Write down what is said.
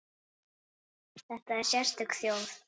Þetta er sérstök þjóð.